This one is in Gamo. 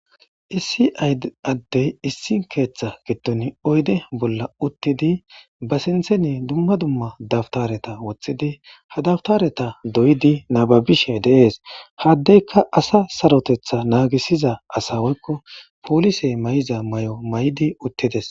issi addey issi keeththa giton oyde bolla uttidi ba sintheni dumma dumma dabtareta woththidi ha dabtareta doyidi nababishe dees haddeyka asa sarotetha naagisiza asa woykko poolisey may7iza may7o may7di uttides